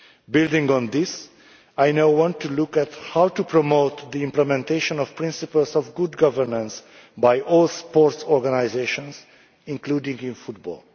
Building on this, I now want to look at how to promote the implementation of principles of good governance by all the sports organisations, including football.